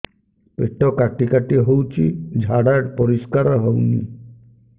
ପେଟ କାଟି କାଟି ହଉଚି ଝାଡା ପରିସ୍କାର ହଉନି